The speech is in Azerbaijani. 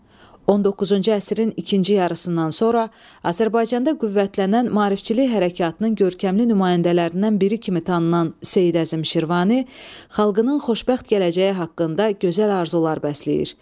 19-cu əsrin ikinci yarısından sonra Azərbaycanda qüvvətlənən maarifçilik hərəkatının görkəmli nümayəndələrindən biri kimi tanınan Seyid Əzim Şirvani xalqının xoşbəxt gələcəyi haqqında gözəl arzular bəsləyir.